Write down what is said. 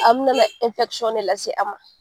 A bina na de lase a ma.